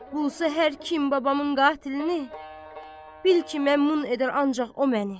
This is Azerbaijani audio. Bulsa hər kim babamın qatilinini, bil ki, məmnun edər ancaq o məni.